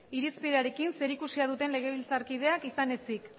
irizpenarekin zerikusia duten legebiltzarkideak izan ezik